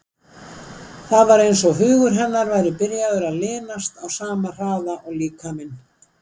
Það var eins og hugur hennar væri byrjaður að linast á sama hraða og líkaminn.